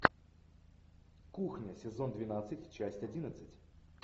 кухня сезон двенадцать часть одиннадцать